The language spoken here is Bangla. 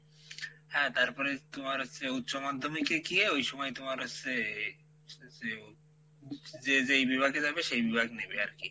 হ্যাঁ তারপরে তুমার হচ্ছে উচ্চমাধ্যমিক এ গিয়ে ওই সময় তোমার হোসসে যেও যে যেই বিভাগে যাবে সেই বিভাগ নেবে আরকি,